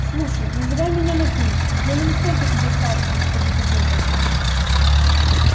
слушай называй меня на ты я не настолько тебя старше чтобы тут это